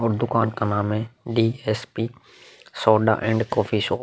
और दुकान का नाम है DSP soda and coffee shop.